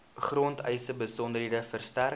grondeise besonderhede verstrek